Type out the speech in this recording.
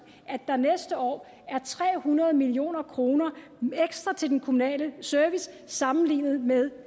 at der næste år er tre hundrede million kroner ekstra til den kommunale service sammenlignet med